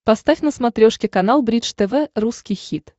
поставь на смотрешке канал бридж тв русский хит